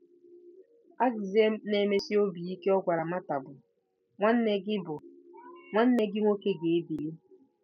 Azịza na-emesi obi ike ọ gwara Mata bụ: “Nwanne gị bụ: “Nwanne gị nwoke ga-ebili.”